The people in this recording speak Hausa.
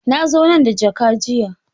Na zo nan da jaka jiya.